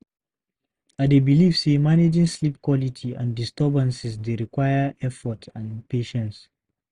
I dey believe say managing sleep quality and disturbances dey require effort and patience.